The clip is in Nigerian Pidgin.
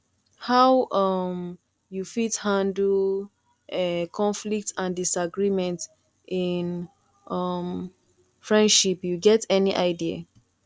how um you fit handle um conflicts and disagreement in um friendship you get any idea